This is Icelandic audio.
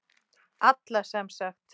Alla sem sagt.